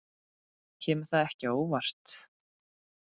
Kemur það ekki á óvart.